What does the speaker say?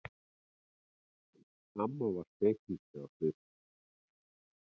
Amma var spekingsleg á svipinn.